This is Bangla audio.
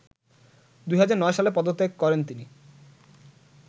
২০০৯ সালে পদত্যাগ করেন তিনি